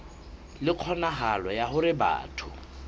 le kgonahalo ya hore batho